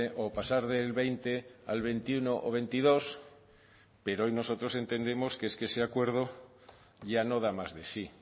o pasar del veinte al veintiuno o veintidós pero hoy nosotros entendemos que ese acuerdo ya no da más de sí